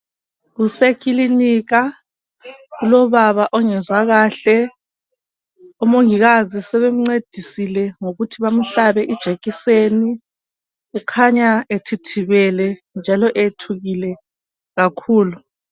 Kusekilinika kulobaba ongezwa kahle omongikazi sebemncedisa ngokuthi bamhlabe ijekiseni kukhanya ethithibele njalo eyethukile kakhulu.